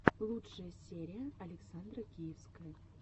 лучшая серия александра киевская